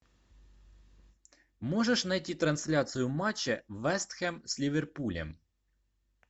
можешь найти трансляцию матча вест хэм с ливерпулем